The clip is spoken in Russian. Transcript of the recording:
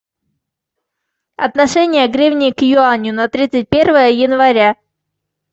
отношение гривны к юаню на тридцать первое января